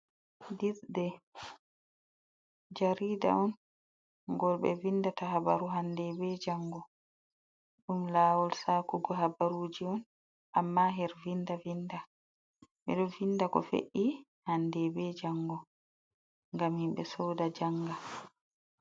Dirde jarida on gol ɓe vindata habaru hande be jango, ɗum lawol shakugo habaruji on amma her vinda vinda. Ɓe ɗo vinda ko fe’i hande be jango ngam himɓe soda janga.